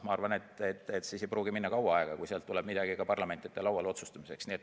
Ma arvan, et siis ei pruugi minna kaua aega, kui sealt tuleb midagi ka parlamendi lauale otsustamiseks.